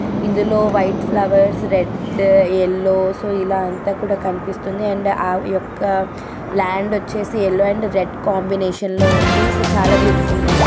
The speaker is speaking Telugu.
ఇందులో white flowers red yellow so ఇలా అంత కూడా కనిపిస్తుంది అండ్ ఆ యొక్క ల్యాండ్ వచ్చేసి ఎల్లో అండ్ రెడ్ కాంబినేషన్ లో ఉంది సో చాలా బ్యూటిఫుల్ గా ఉంది.